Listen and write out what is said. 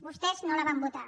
vostès no la van votar